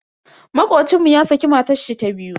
Makocin mu ya saki matashi ta biyu.